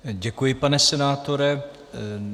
Děkuji, pane senátore.